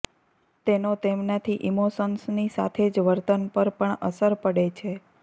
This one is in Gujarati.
તેનો તેમનાથી ઇમોશન્સની સાથે જ વર્તન પર પણ અસર પડે છે